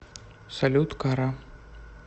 салют кара